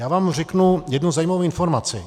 Já vám řeknu jednu zajímavou informaci.